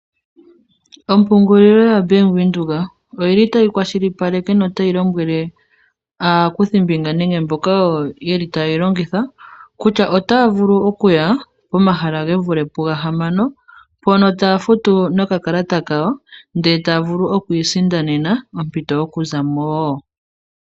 Ompungulilo yo Bank Windhoek oyili tayi kwashilipaleka no tayi lombwele aakuthimbinga nenge mboka yeli tayeyi longitha kutya otaya okuya pomahala gevule pu gahamano mpono taya futu nokalata kayo ndee taya vulu okwi isindanena ompito yoku zamo woo.